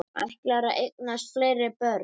Ætlarðu að eignast fleiri börn?